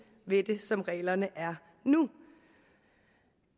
ved det som reglerne er nu